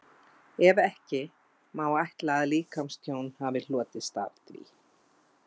Ef ekki, má ætla að líkamstjón hafi hlotist af því?